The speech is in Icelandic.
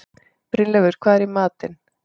Brynleifur, hvað er í matinn?